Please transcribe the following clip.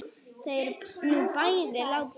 Þau eru nú bæði látin.